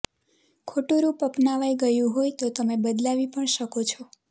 ખોટું રૂપ અપનાવાઈ ગયું હોય તો તમે બદલાવી પણ શકો છો